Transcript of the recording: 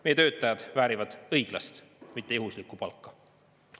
Meie töötajad väärivad õiglast, mitte juhuslikku palka.